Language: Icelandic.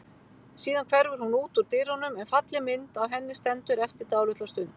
Síðan hverfur hún út úr dyrunum en falleg mynd af henni stendur eftir dálitla stund.